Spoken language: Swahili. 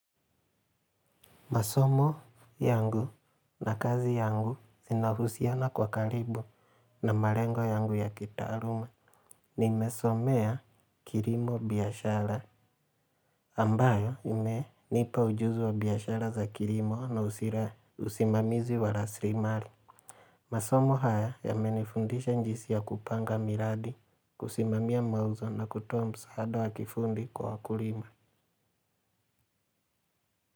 Masomo yangu na kazi yangu inahusiana kwa karibu na malengo yangu ya kitaaruma. Nimesomea kirimo biashara ambayo imenipa ujuzi wa biashara za kilimo na usimamizi wa rasrimali. Masomo haya yamenifundisha njisi ya kupanga miradi, kusimamia mauzo na kutoa msaada wa kifundi kwa wakulima.